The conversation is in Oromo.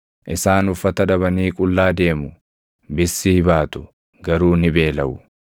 Isaan uffata dhabanii qullaa deemu; bissii baatu; garuu ni beelaʼu.